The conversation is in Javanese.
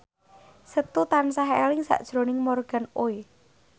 Setu tansah eling sakjroning Morgan Oey